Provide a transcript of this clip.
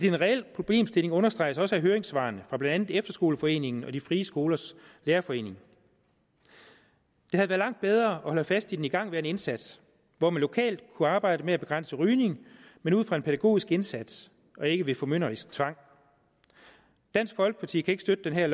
en reel problemstilling understreges også af høringssvarene fra blandt andet efterskoleforeningen og frie skolers lærerforening det havde været langt bedre at holde fast i den igangværende indsats hvor man lokalt kunne arbejde med at begrænse rygning men ud fra en pædagogisk indsats og ikke ved formynderisk tvang dansk folkeparti kan ikke støtte det her